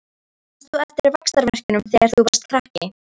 Manst þú eftir vaxtarverkjunum þegar þú varst krakki?